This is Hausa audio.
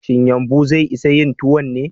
Shin yumɓu zai isa yin tukwanen?